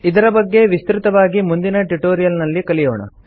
ಇದರ ಬಗ್ಗೆ ವಿಸ್ತೃತವಾಗಿ ಮುಂದಿನ ಟ್ಯುಟೋರಿಯಲ್ ನಲ್ಲಿ ಕಲಿಯೋಣ